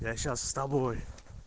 я сейчас с тобой